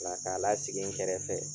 La k'a lasigi n kɛrɛfɛ